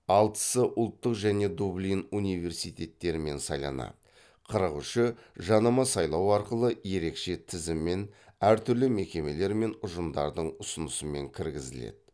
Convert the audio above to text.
алтысы ұлттық және дублин университеттерімен сайланады қырық үші жанама сайлау арқылы ерекше тізіммен әртүрлі мекемелер мен ұжымдардың ұсынысымен кіргізіледі